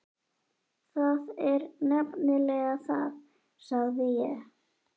Það er nefnilega það, sagði ég.